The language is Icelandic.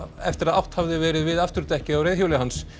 eftir að átt hafði verið við afturdekkið á reiðhjóli hans